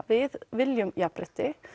við viljum jafnrétti